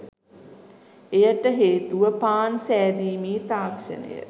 එයට හේතුව පාන් සෑදීමේ තාක්ෂණය